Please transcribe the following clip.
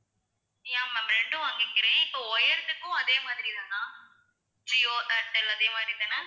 yeah ma'am ரெண்டும் வாங்கிக்கிறேன் இப்போ wired க்கும் அதே மாதிரி தானா ஜியோ, ஏர்டெல் அதே மாதிரி தானா